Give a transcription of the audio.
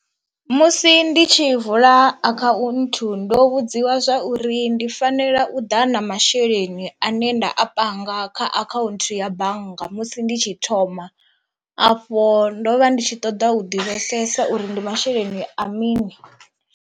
Musi ndi tshi vula akhaunthu ndo vhudziwa zwa uri ndi fanela u ḓa na masheleni ane nda a panga kha akhaunthu ya bannga musi ndi tshi thoma afho ndo vha ndi tshi ṱoḓa u divhesesa uri ndi masheleni a mini.